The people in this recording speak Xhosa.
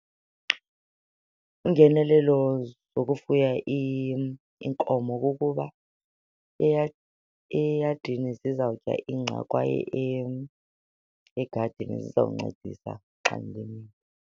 Iingenelelo zokufuya iinkomo kukuba eyadini zizawutya ingca kwaye egadini zizawuncedisa xa ndilimile.